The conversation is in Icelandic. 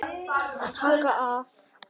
Taka af.